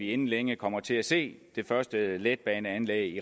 inden længe kommer til at se det første letbaneanlæg